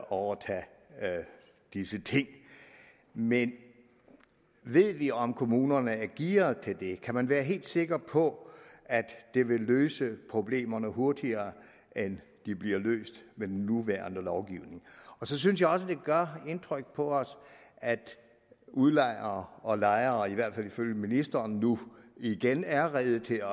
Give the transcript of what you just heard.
overtage disse ting men ved vi om kommunerne er gearet til det kan man være helt sikker på at det vil løse problemerne hurtigere end de bliver løst med den nuværende lovgivning så synes jeg også at det gør indtryk på os at udlejere og lejere i hvert fald ifølge ministeren nu igen er rede til